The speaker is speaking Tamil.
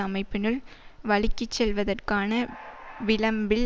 அமைப்பினுள் வழுக்கிசெல்வதற்கான விளம்பில்